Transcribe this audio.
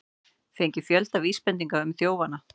Fengið fjölda vísbendinga um þjófana